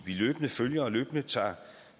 løbende følger og løbende tager